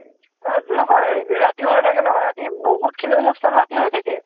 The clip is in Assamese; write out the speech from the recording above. অ নহয়। ৰাতিও হৈ থাকে ন। ৰাতি বহুত খিনি আনুষ্ঠান ৰাতি হৈ থাকে।